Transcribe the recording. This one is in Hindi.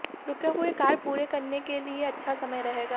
रूके हुए कार्य पूरे करने के लिए अच्छा समय रहेगा